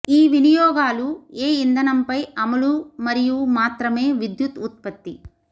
ఈ వినియోగాలు ఏ ఇంధనంపై అమలు మరియు మాత్రమే విద్యుత్ ఉత్పత్తి